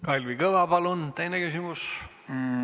Kalvi Kõva, palun teine küsimus!